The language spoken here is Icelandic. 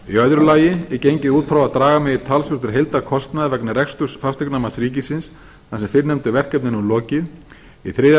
í öðru lagi er gengið út frá að draga megi talsvert úr heildarkostnaði vegna reksturs fasteignamats ríkisins þar sem fyrrnefndu verkefni er nú lokið í þriðja